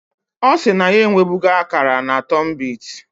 Osi na ya ewebugo akara na tunbit